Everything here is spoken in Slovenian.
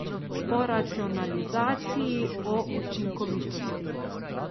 O racionalizaciji, o učinkovitosti.